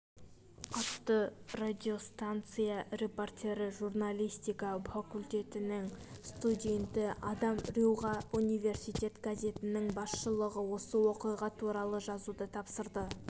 атты радиостанция репортері журналистика факультетінің студенті адам рьюға университет газетінің басшылығы осы оқиға туралы жазуды тапсырды